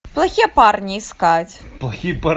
плохие парни искать